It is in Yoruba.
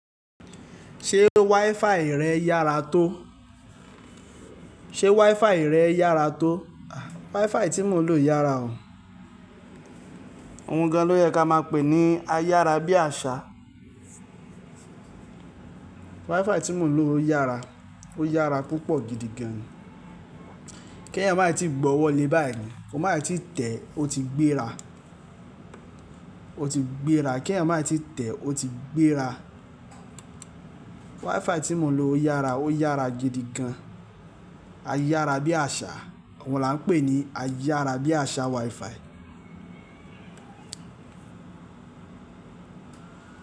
Ṣé wifi rẹ yára tó? Ṣé wifi rẹ yára tó? Wifi tí mò ń lò yára o. Ohun gan ló yẹ ká máa pè ní ayára bí àṣá. Wifi tí mò ń lò yára, ó yára púpọ̀ gidi gan. Kí ẹ̀yan má tíì gbọ́wọ́ le báyìí, ki o máa tíì tẹ̀ o ti gbéra, o ti gbéra. Kí ẹ̀yan má tíì tẹ̀ o ti gbéra. Wifi tí mò ń lò yára, ó yára gidi gan. Ayára bí àṣá, àwọn là ń pè ní ayára bí àṣá wifi.